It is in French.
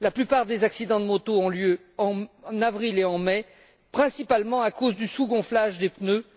La plupart des accidents de moto ont lieu en avril et en mai, principalement à cause du sous gonflage des pneus.